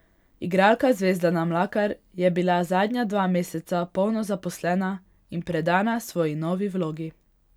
Igralka Zvezdana Mlakar je bila zadnja dva meseca polno zaposlena in predana svoji novi vlogi.